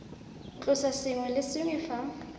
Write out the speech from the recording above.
tlosa sengwe le sengwe fa